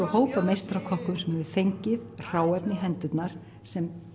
hóp af meistarakokkum sem hefur fengið hráefni í hendurnar sem